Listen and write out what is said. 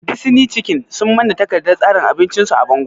Disni cikin sun manna takardar tsarin abinci su a bango